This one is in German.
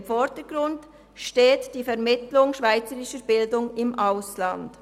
Im Vordergrund steht die Vermittlung schweizerischer Bildung im Ausland.